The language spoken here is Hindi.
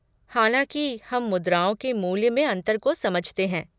हालाँकि, हम मुद्राओं के मूल्य में अंतर को समझते हैं।